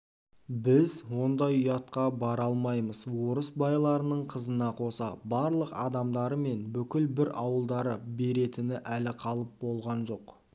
біз ондай ұятқа бара алмаймыз орыс байларының қызына қоса барлық адамдары мен бүкіл бір ауылдарды беретіні әлі қалып болған жоқ